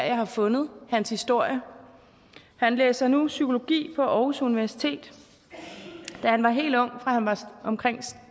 jeg har fundet hans historie han læser nu psykologi på aarhus universitet da han var helt ung fra han var omkring